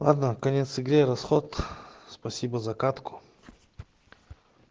ладно конец игры расход спасибо за катку